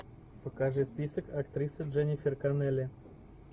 покажи список актрисы дженнифер коннелли